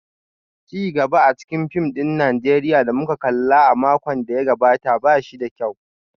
Ci gaba a cikin fim ɗin Najeriya da muka kalla a makon da ya gabata ba shi da kyau